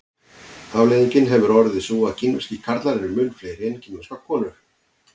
afleiðingin hefur orðið sú að kínverskir karlar eru mun fleiri en kínverskar konur